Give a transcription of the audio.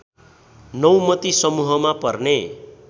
नौमती समूहमा पर्ने